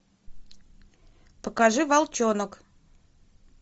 покажи волчонок